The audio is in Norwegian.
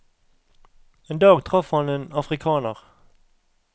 En dag traff han en afrikaner.